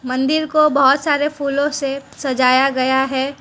मंदिर को बहोत सारे फूलों से सजाया गया है।